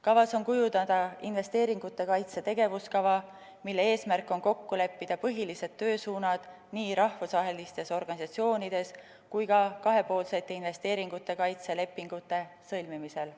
Kavas on kujundada investeeringute kaitse tegevuskava, mille eesmärk on kokku leppida põhilised töösuunad nii rahvusvahelistes organisatsioonides kui ka kahepoolsete investeeringute kaitse lepingute sõlmimisel.